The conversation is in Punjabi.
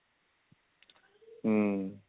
ਹਮ